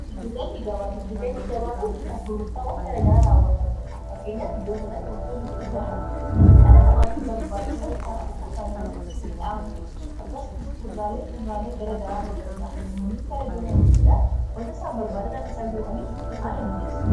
gidggabagiddugallii gabaa kun bittaaf gurburtaawwan garagaraa raawwatamudha fakkeenyaa fi iddoo kanaatti wantao torni gurguraman kan dhala namaatti barbaatusan kanaa kakkafana midhaan akkasmu kudraaleefi fudraalee garagaraa ta'uu danda'a namoonnis gara iddoo kana dhufuudhaan wanta isaan barbaadan akkaisa in bitataniif haala mijeessa